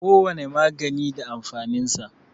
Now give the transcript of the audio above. Kowane magani da amfanin sa.